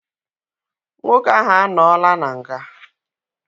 Nwoke ahu anọọla n'nga